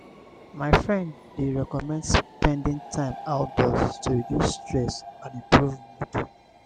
my friend dey recommend spending time outdoors to reduce stress and improve mood.